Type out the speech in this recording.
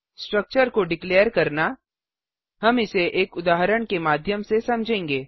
structure को डिक्लेरघोषित करना हम इसे एक उदाहरण के माध्यम से समझेंगे